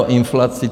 O inflaci?